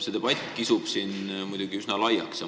See debatt kisub siin üsna laiaks.